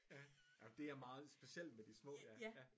Ja ja men det er meget specielt med de små ja